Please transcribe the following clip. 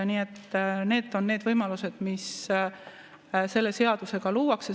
Nii et need on need võimalused, mis selle seadusega luuakse.